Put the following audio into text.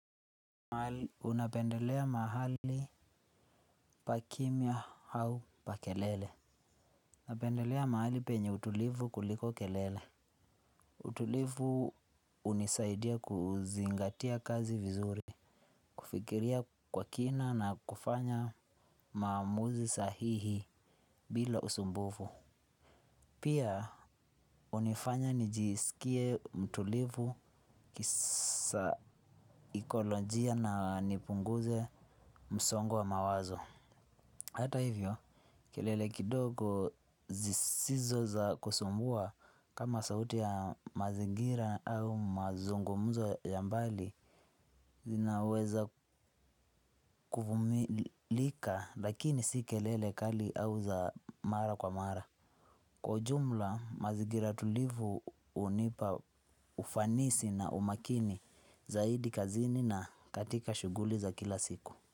Unapendelea mahali pa kimya au pa kelele. Unapendelea mahali penye utulivu kuliko kelele. Utulivu hunisaidia kuzingatia kazi vizuri. Kufikiria kwa kina na kufanya maamuzi sahihi bila usumbufu. Pia hunifanya nijiskie mtulivu kisaikolojia na nipunguze msongo wa mawazo. Hata hivyo, kelele kidogo zisizo za kusumbua kama sauti ya mazingira au mazungumzo ya mbali zinaweza kuvumilika lakini si kelele kali au za mara kwa mara. Kwa ujumla, mazingira tulivu hunipa ufanisi na umakini zaidi kazini na katika shughuli za kila siku.